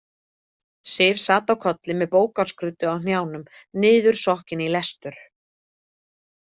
Sif sat á kolli með bókarskruddu á hnjánum, niðursokkin í lestur.